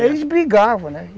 Eles brigavam, né?